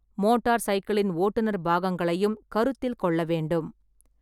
Motor சைக்கிளின் ஓட்டுநர் பாகங்களையும் கருத்தில் கொள்ள வேண்டும்.